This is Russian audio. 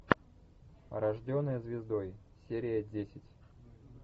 рожденная звездой серия десять